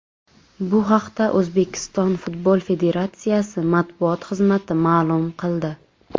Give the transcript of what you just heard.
Bu haqda O‘zbekiston futbol federatsiyasi matbuot xizmati ma’lum qildi .